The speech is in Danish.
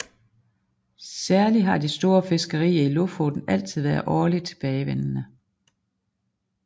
Særlig har de store fiskerier i Lofoten altid været årlig tilbagevendende